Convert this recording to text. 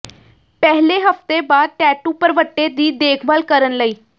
ਪਹਿਲੇ ਹਫਤੇ ਬਾਅਦ ਟੈਟੂ ਭਰਵੱਟੇ ਦੀ ਦੇਖਭਾਲ ਕਰਨ ਲਈ